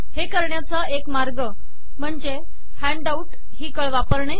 हे करण्याचा एक मार्ग म्हणजे हँडआउट ही कळ वापरणे